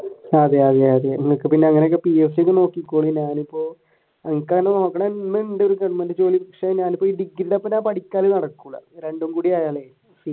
അതെ അതെ നിനക്ക് പിന്നെ അങ്ങനെ PSC ഒക്കെ നോക്കിക്കൂടെ ഞാനിപ്പോ എനിക്ക് അങ്ങനെ നോക്കണമെന്നുണ്ട് ഒരു ഗവണ്മെന്റ് ജോലി രണ്ടുംകൂടിയായാൽ